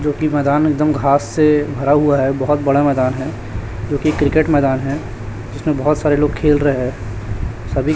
जोकि मैदान एकदम घास से भरा हुआ है बहोत बड़ा मैदान है क्योंकि क्रिकेट मैदान है जीसमें बहोत सारे लोग खेल रहे हैं सभी--